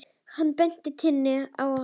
Hann benti Tinnu á það.